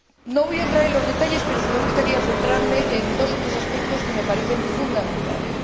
No voy a entrar en los detalles pero sí me gustaría centrarme en dos o tres aspectos que me parecen fundamentales.